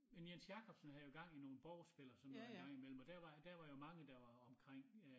Men Jens Jakobsen havde jo gang i nogen borgspil og sådan noget en gang i mellem og der var jo der var jo mange der var omrking øh